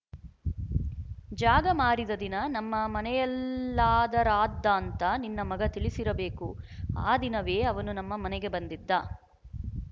ಜಾಗ ಮಾರಿದ ದಿನ ನಮ್ಮ ಮನೆಯಲ್ಲಾದರಾದ್ದಾಂತ ನಿನ್ನ ಮಗ ತಿಳಿಸಿರಬೇಕು ಆ ದಿನವೇ ಅವನು ನಮ್ಮ ಮನೆಗೆ ಬಂದಿದ್ದ